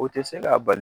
O tɛ se ka bali